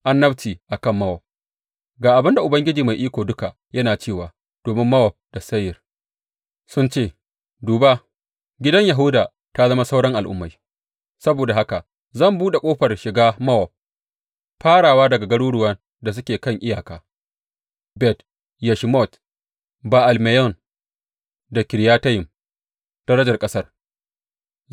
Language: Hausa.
Annabci a kan Mowab Ga abin da Ubangiji Mai Iko Duka yana cewa, Domin Mowab da Seyir sun ce, Duba, gidan Yahuda ta zama sauran al’ummai, saboda haka zan buɗe ƙofar shiga Mowab, farawa daga garuruwan da suke kan iyaka, Bet Yeshimot, Ba’al Meyon da Kiriyatayim, darajar ƙasar.